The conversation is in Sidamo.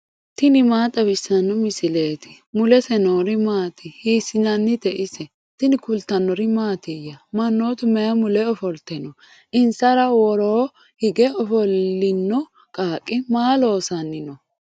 tini maa xawissanno misileeti ? mulese noori maati ? hiissinannite ise ? tini kultannori mattiya? Manoottu mayi mule offolitte noo? insara woroo hige ofolinno qaaqi maa loosanni noo?